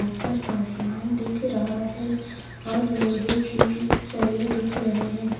ऊपर आसमान दिख रहा है और लोहे की सरियें दिख रहे हैं।